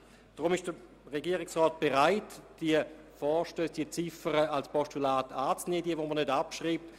Deshalb ist der Regierungsrat bereit, diejenigen Ziffern des Vorstosses, die er nicht abschreiben lassen will, als Postulat entgegenzunehmen.